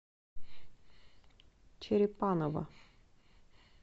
черепаново